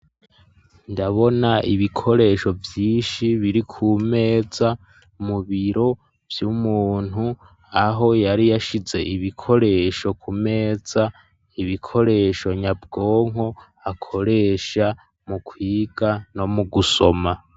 Ndabona ibikoresho vyinshi biri ku meza mu biro vy'umuntu aho yari yashize ibikoresho ku meza ibikoresho nyabwonko akoresha mu kwiga no mugusoma.